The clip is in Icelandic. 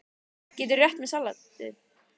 Gætirðu rétt mér saltið?